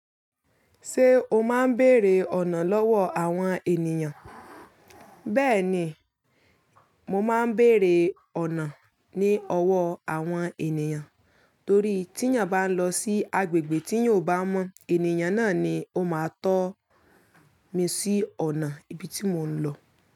Ṣé o má ń bèèrè ọ̀nà lọwọ àwọn ènìyàn? Bẹ́ẹ̀ ni, mo máa ń béèrè ọ̀nà ní ọwọ́ àwọn ènìyàn, torí tí'yan bá ń lọ sí agbègbè tí èyàn ó bá mọ̀, ènìyàn náà ni ó máa tọ́ mi sí ọ̀nà ibi tí mò ń lọ.